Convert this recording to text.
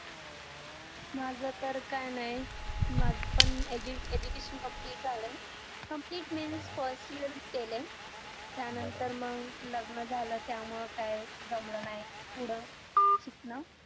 माझं तर काय नाय माझं पण education complete झालय complete means first year च केलंय त्यानंतर मग लग्न झालं त्यामुळं काय जमलं नाही पुढं शिकण